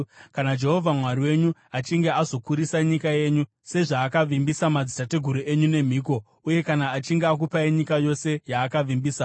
Kana Jehovha Mwari wenyu achinge azokurisa nyika yenyu, sezvaakavimbisa madzitateguru enyu nemhiko, uye kana achinge akupai nyika yose yaakavimbisa,